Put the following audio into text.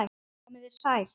Komið þið sæl.